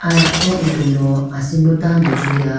aya o ipindo asimbo tando jiya.